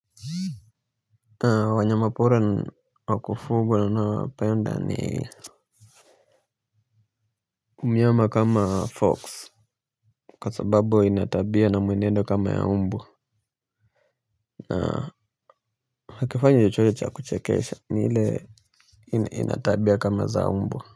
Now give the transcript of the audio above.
Wanyama pora wakufugwa na penda ni mnyama kama fox kasa babo inatabia na muenendo kama ya umbwa. Na hakifanyo jechoje cha kuchekesha nile inatabia kama za umbwa.